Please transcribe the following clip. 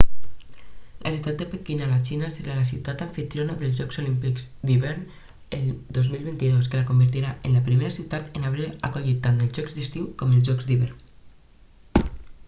la ciutat de pequín a la xina serà la ciutat amfitriona dels jocs olímpics d'hivern el 2022 que la convertiran en la primera ciutat en haver acollit tant els jocs d'estiu com els d'hivern